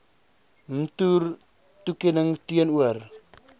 mtur toekenning teenoor